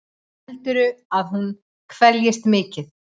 Heldurðu að hún kveljist mikið?